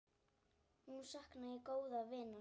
Nú sakna ég góðs vinar.